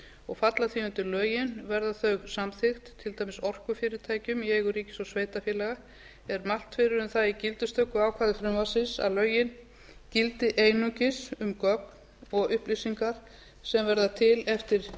og falla síðan undir lögin verði þau samþykkt til dæmis orkufyrirtækjum í eigu ríkis og sveitarfélaga er mælt fyrir um það í gildistökuákvæði frumvarpsins að lögin gildi einungis um gögn og upplýsingar sem verða til eftir